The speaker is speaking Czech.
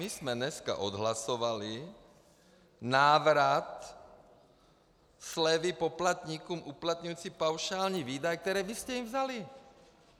My jsme dneska odhlasovali návrat slevy poplatníkům uplatňujícím paušální výdaje, které vy jste jim vzali.